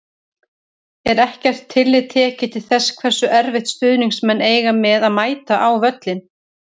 Er ekkert tillit tekið til þess hversu erfitt stuðningsmenn eiga með að mæta á völlinn?